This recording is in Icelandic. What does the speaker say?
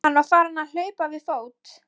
Hann var farinn að hlaupa við fót.